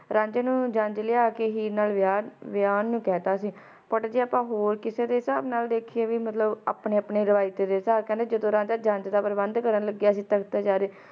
rਅੰਝਾਈ ਨੂੰ ਜੰਜ ਲਾਯਾ ਕ ਹੀਰ ਨਾਲ ਵੀਹਾਂ ਨੂੰ ਕਹਿ ਦਿੱਤਾ ਸੀ ਪੁੱਤ ਜੇ ਆਪ ਹੋਰ ਦੇ ਕਿਸੀ ਦੇ ਹਿਸਾਬ ਨਾਲ ਦੇਖੇ ਤੇ ਮਤਲਬ ਆਪਣੇ ਆਪਣੇ ਰਿਵਾਯਤ ਦੇ ਹਿਸਾਬ ਨਾਲ ਤੇ ਕਹਿੰਦੇ ਰਾਂਝਾ ਜੱਦੋ ਜੰਜ ਦਾ ਪ੍ਰਬੰਧ ਕਾਰਨ ਲੱਗਿਆ ਸੀ